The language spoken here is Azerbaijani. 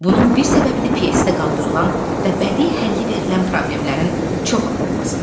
Bunun bir səbəbi də pyesdə qaldırılan və bədii həlli verilən problemlərin çox olmasıdır.